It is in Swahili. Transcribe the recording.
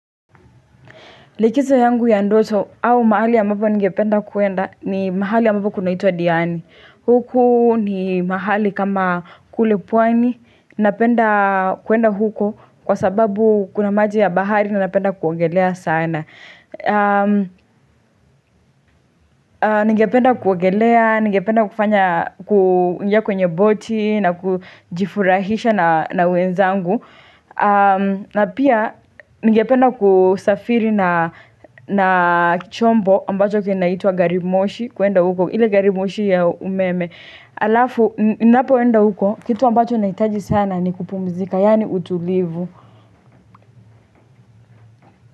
Likizo yangu ya ndoto au mahali ambapo ningependa kuenda ni mahali ambapo kunaitwa Diani. Huku ni mahali kama kule pwani. Napenda kuenda huko kwa sababu kuna maji ya bahari na napenda kuogelea sana. Ningependa kuogelea, ningependa kufanya kuingia kwenye boti na kujifurahisha na wenzangu. Na pia ningependa kusafiri na na chombo ambacho kinaitwa garimoshi kuenda huko ile garimoshi ya umeme Alafu, ninapoenda huko, kitu ambacho nahitaji sana ni kupumzika, yani utulivu.